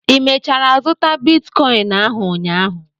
Ị mechara zụta bitkọịn ahụ ụnyaahụ?